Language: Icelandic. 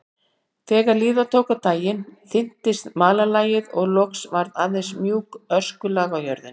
Þegar líða tók á daginn þynntist malarlagið og loks var aðeins mjúkt öskulag á jörðinni.